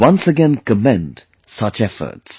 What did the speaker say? I once again commend such efforts